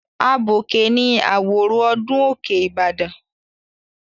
Abọ̀kè ni àwòrò ọdún Òkè Ìbàdàn.